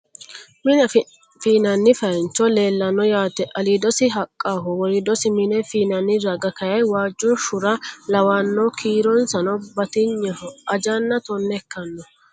Mine fii'nanni feyaanchi leellanno yaate. Aliidosi haqqaho. Woriidosi mine fii'nani raga kayii waajjo shura lawanno. Kiironsano batigneho. Ajanna tonne ikkanno.